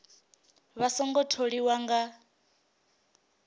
vha a songo tholiwa nga